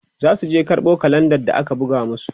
zasu je karɓo kalenda da aka buga masu